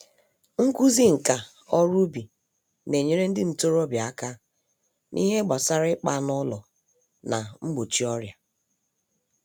Nkụzi nka-oru-ubi nenyere ndị ntorobịa àkà n'ihe gbásárá ịkpa anụ ụlọ, na mgbochi ọrịa.